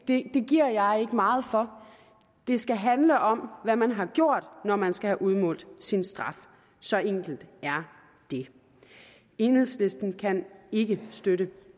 det giver jeg ikke meget for det skal handle om hvad man har gjort når man skal have udmålt sin straf så enkelt er det enhedslisten kan ikke støtte